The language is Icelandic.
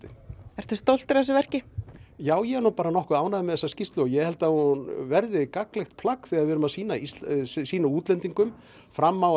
ertu stoltur af þessu verki já ég er nú bara nokkuð ánægður með þessa skýrslu ég held að hún verði gagnlegt plagg þegar við erum að sýna sýna útlendingum fram á